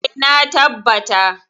Eh, na tabbata.